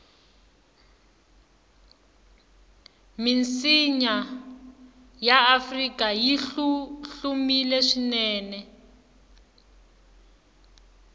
misinya yaafrika yihlumile swinene